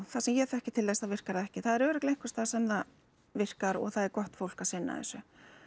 það sem ég þekki til þess þá virkar það ekki það er örugglega einhvers staðar sem það virkar og það er gott fólk að sinna þessu